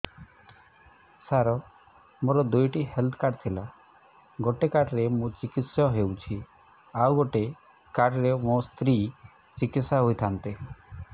ସାର ମୋର ଦୁଇଟି health card ଥିଲା ଗୋଟେ କାର୍ଡ ରେ ମୁଁ ଚିକିତ୍ସା ହେଉଛି ଆଉ ଗୋଟେ କାର୍ଡ ରେ ମୋ ସ୍ତ୍ରୀ ଚିକିତ୍ସା ହୋଇଥାନ୍ତେ